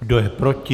Kdo je proti?